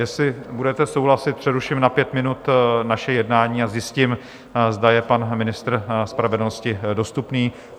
Jestli budete souhlasit, přeruším na pět minut naše jednání a zjistím, zda je pan ministr spravedlnosti dostupný.